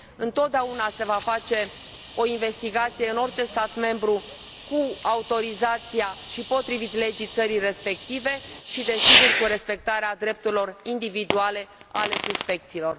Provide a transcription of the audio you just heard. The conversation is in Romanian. Întotdeauna se va face o investigație în orice stat membru, cu autorizația și potrivit legii țării respective și, desigur, cu respectarea drepturilor individuale ale suspecților.